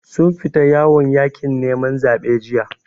Sun fita yawon yaƙin neman zaɓe jiya.